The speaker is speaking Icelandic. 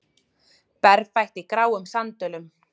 Berfætt í gráum sandölum.